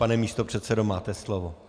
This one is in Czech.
Pane místopředsedo, máte slovo.